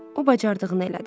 O bacardığını elədi.